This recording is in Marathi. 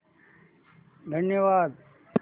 धन्यवाद